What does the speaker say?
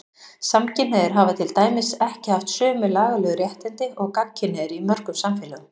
Samkynhneigðir hafa til dæmis ekki haft sömu lagalegu réttindi og gagnkynhneigðir í mörgum samfélögum.